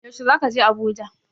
Yaushe zaka je Abuja?